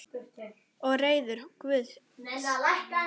Og reiður Guði sínum.